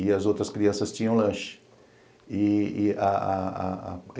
e as outras crianças tinham lanche. E a